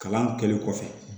Kalan kɛlen kɔfɛ